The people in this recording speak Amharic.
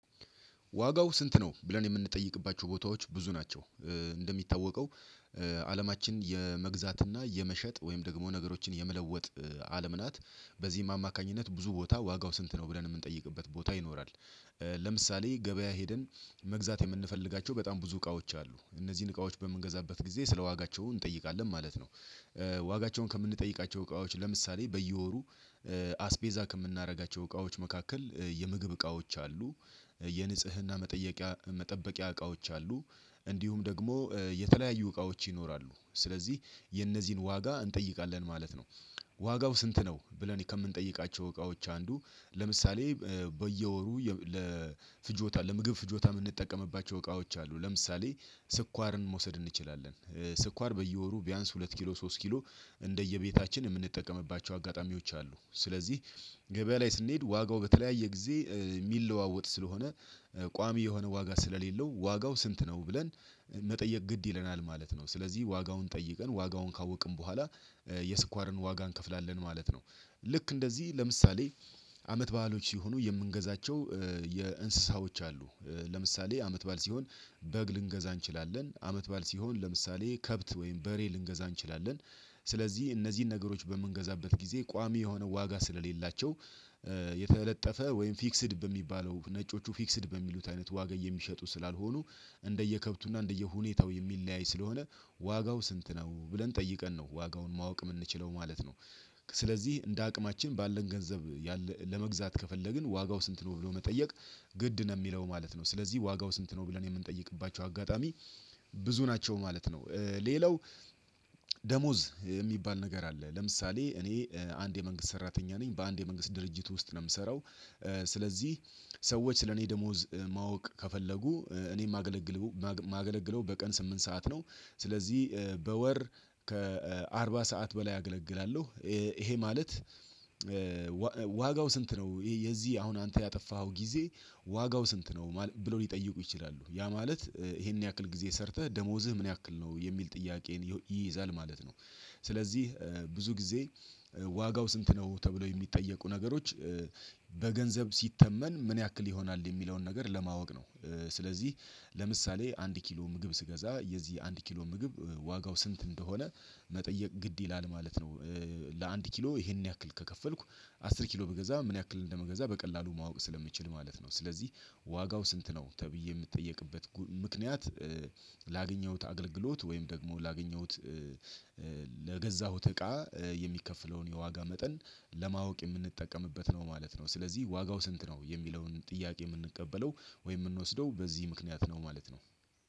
ዋጋው ስንት ነው? ብለን የምንጠይቅባቸው ቦታዎች ብዙ ናቸው። እንደሚታወቀው አለማችን የመግዛትና የመሸጥ ወይም ደግሞ ነገሮችን የምለወጥ አለም ናት። በዚህ ማማካኝነት ብዙ ቦታ ዋጋው ስንት ነው ብለን የምንጠይቅበት ቦታ ይኖራል። ለምሳሌ ገበያ ሄደን መግዛት የምንፈልጋቸው በጣም ብዙ እቃዎች አሉ እነዚህን እቃዎች በምንገዛበት ጊዜ ስለዋጋቸው እንጠይቃለን ማለት ነው። ዋጋቸውን ከምንጠይቃቸው እቃዎች ለምሳሌ በየወሩ አስቤዛ ከምናደርጋቸው እቃዎች መካከል የምግብ እቃዎች አሉ። የንጽህና መጠየቂያ መጠበቂያ እቃዎች አሉ። እንዲሁም ደግሞ የተለያዩ እቃዎች ይኖራሉ ስለዚህ የነዚህን ዋጋ እንጠይቃለን ማለት ነው። ዋጋው ስንት ነው ብለን ከምንጠይቃቸው እቃዎች አንዱ ለምሳሌ በየወሩ ለፍጆታ ለምግብ ፍጆታ የምንጠቀምባቸው እቃዎች አሉ ለምሳሌ ስኳርን መውሰድ እንችላለን። ስኳር በየወሩ ቢያንስ ሁለት ኪሎ ሶስት ኪሎ እንደየቤታችን የምንጠቀምባቸው አጋጣሚዎች አሉ። ስለዚህ ገበያ ላይ ስንሄድ ዋጋው በተለያየ ጊዜ የሚለዋወጥ ስለሆነ ቋሚ የሆነ ዋጋ ስለሌለው ዋጋው ስንት ነው ብለን መጠየቅ ግድ ይለናል ማለት ነው። ስለዚህ ዋጋውን ጠይቀን ዋጋውን ካወቅን በኋላ የስኳርን ዋጋ እንከፍላለን ማለት ነው። ልክ እንደዚህ ለምሳሌ አመት በዓሎች ሲሆኑ የምንገዛቸው የእንስሳዎች አሉ። ለምሳሌ አመት በዓል ሲሆን በግ ልንገዛ እንችላለን አመት ባል ሲሆን ለምሳሌ ከብት ወይም በሬ ልንገዛ እንችላለን። ስለዚህ እነዚህን ነገሮች በምንገዛበት ጊዜ ቋሚ የሆነ ዋጋ ስለሌላቸው የተለጠፈ ወይም ፊክስድ በሚባለው ነጮቹ ፊክስድ በሚሉት አይነት ዋጋ የሚሸጡ ስላልሆኑ እንደየከብቱና እንደየሁኔታው የሚለያይ ስለሆነ ዋጋው ስንት ነው ብለን ጠይቀን ነው ዋጋውን ማወቅ የምንችለው ማለት ነው። ስለዚህ እንደ አቅማችን ባለን ገንዘብ ለመግዛት ከፈለግን ዋጋው ስንት ነው ብሎ መጠየቅ ግድ ነው የሚለው ማለት ነው። ስለዚህ ዋጋው ስንት ነው ብለን የምንጠይቅባቸው አጋጣሚ ብዙ ናቸው ማለት ነው። ሌላው ደሞዝ የሚባል ነገር አለ ለምሳሌ እኔ አንድ የመንግስት ሰራተኛ ነኝ በአንድ የመንግስት ድርጅት ውስጥ ነው የምሰራው። ስለዚህ ሰዎች ስለኔ ደሞዝ ማወቅ ከፈለጉ እኔ የማገለግለው በቀን ስምንት ሰዓት ነው። ስለዚህ በወር ከአርባ ሰዓት በላይ አገለግላለሁ። ይሄ ማለት ዋጋው ስንት ነው የዚህ አሁን አንተ ያጠፋኸው ጊዜ ዋጋው ስንት ነው ብሎ ሊጠይቁ ይችላሉ ያ ማለት ይሄን ያክል ጊዜ ሰርተህ ደሞዝህ ምን ያክል ነው የሚል ጥያቄን ይይዛል ማለት ነው። ስለዚህ ብዙ ጊዜ ዋጋው ስንት ነው ተብሎ የሚጠየቁ ነገሮች በገንዘብ ሲተመን ምን ያክል ይሆናል የሚለውን ነገር ለማወቅ ነው። ስለዚህ ለምሳሌ አንድ ኪሎ ምግብ ስገዛ የዚህ አንድ ኪሎ ምግብ ዋጋው ስንት እንደሆነ መጠየቅ ግድ ይላል ማለት ነው። ለአንድ ኪሎ ይሄን ያክል ከከፈልኩ አስር ኪሎ ብገዛ ምን ያክል እንደመገዛ በቀላሉ ማወቅ ስለምችል ማለት ነው። ስለዚህ ዋጋው ስንት ነው ተብዬ የምትጠየቅበት ምክንያት ላገኘሁት አገልግሎት ወይም ደግሞ ላገኘሁት ለገዛሁት እቃ የሚከፍለውን የዋጋ መጠን ለማወቅ የምንጠቀምበት ነው ማለት ነው። ስለዚህ ዋጋው ስንት ነው የሚለውን ጥያቄ የምንቀበለው ወይ የምንወስደው በዚህ ምክንያት ነው ማለት ነው።